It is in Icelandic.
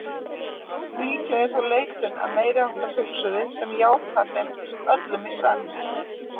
Líklega er þó leitun að meiriháttar hugsuði sem játar þeim öllum í senn.